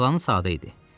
Planı sadə idi.